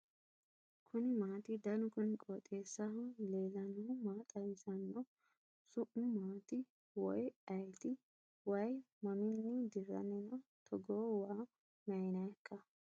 kuni maati ? danu kuni qooxeessaho leellannohu maa xawisanno su'mu maati woy ayeti ? wayi mamminni dirranni no togoo waa maynannikka ?